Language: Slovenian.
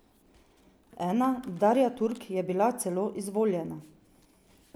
Ena, Darja Turk, je bila celo izvoljena.